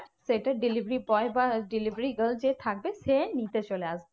সেটা delivery boy বা delivery girls যে থাকবে সে নিতে চলে আসবে।